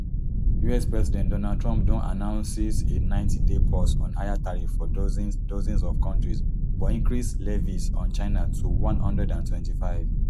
us president donald trump don announces a ninetyday pause on higher tariffs for dozens dozens of kontris but increase levies on china to one hundred and twenty-five